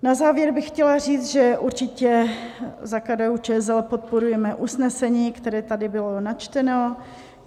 Na závěr bych chtěla říct, že určitě za KDU-ČSL podporujeme usnesení, které tady bylo načteno.